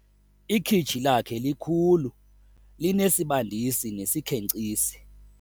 Ikhitshi lakhe likhulu linesibandisi nesikhenkcisi.